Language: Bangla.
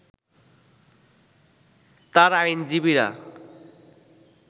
তার আইনজীবীরা